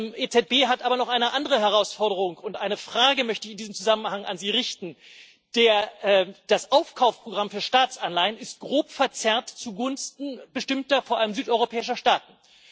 Die EZB hat aber noch eine andere Herausforderung, und eine Frage möchte ich in diesem Zusammenhang an Sie richten Das Aufkaufprogramm für Staatsanleihen ist grob verzerrt zugunsten bestimmter, vor allem südeuropäischer Staaten.